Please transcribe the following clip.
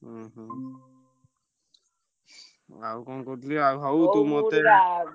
ଉଁହୁଁ। ଆଉ କଣ କହୁଥିଲି ଆଉ ହଉ ।